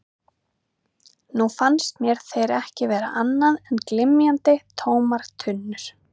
Nú fannst mér þeir ekki vera annað en glymjandi, tómar tunnur.